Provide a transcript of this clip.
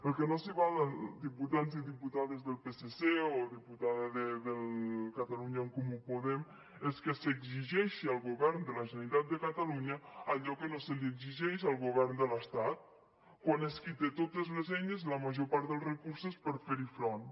al que no s’hi val diputats i diputades del psc o diputada de catalunya en comú podem és que s’exigeixi al govern de la generalitat de catalunya allò que no se li exigeix al govern de l’estat quan és qui té totes les eines i la major part dels recursos per a fer hi front